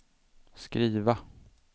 skriva